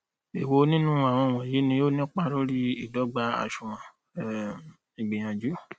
èwo nínu àwọn wọnyí ni ó nípa lóri ìdọgba àsunwon um ìgbìyànjú